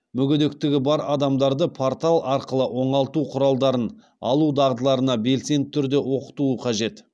мүгедектігі бар адамдарды портал арқылы оңалту құралдарын алу дағдыларына белсенді түрде оқытуы қажет